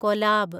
collab